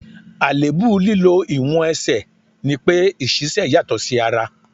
Àléébù lílọ ìwọ̀n Ẹsẹ̀ ní pé ìṣísẹ́ yàtọ̀ sí ara.